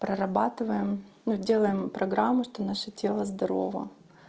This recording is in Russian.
прорабатываем ну делаем программу что наше тело здорово